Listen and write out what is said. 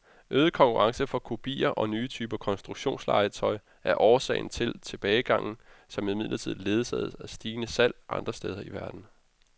Øget konkurrence fra kopier og nye typer konstruktionslegetøj er årsag til tilbagegangen, som imidlertid ledsages af stigende salg andre steder i verden.